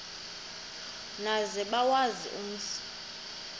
maze bawazi umzi